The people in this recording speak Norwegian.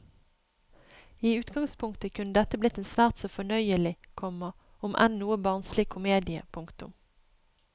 I utgangspunktet kunne dette blitt en svært så fornøyelig, komma om enn noe barnslig komedie. punktum